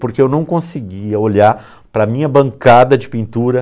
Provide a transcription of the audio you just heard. Porque eu não conseguia olhar para a minha bancada de pintura.